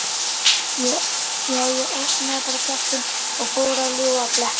Já, ég opnaði bara kjaftinn og fór að ljúga og blekkja.